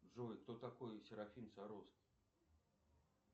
джой кто такой серафим саровский